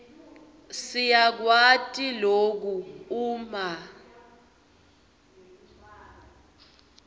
siyakwati loku uma